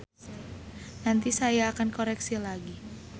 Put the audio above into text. Nanti akan saya koreksi lagi.